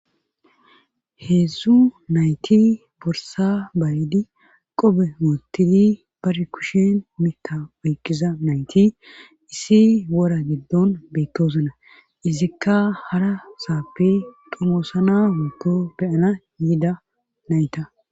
Heedzdzu nayti borsa bayedi qobe mootidi bari kushin mita oykkiza nayti issi wora giddon beyttoosuna izikka hara saappe domoosana moto beyana yida nayta